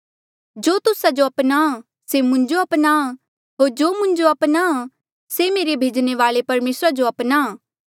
जो तुस्सा जो अपनाहां से मुंजो अपनाहां होर जो मुंजो अपनाहां से मेरे भेजणे वाल्ऐ परमेसरा जो अपनाहां